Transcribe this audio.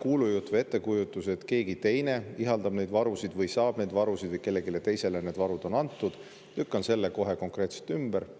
kuulujutu või ettekujutuse, et keegi teine ihaldab neid varusid või saab neid varusid või kellelegi teisele on need varud antud, lükkan kohe konkreetselt ümber.